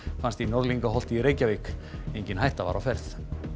fannst í Norðlingaholti í Reykjavík engin hætta var á ferð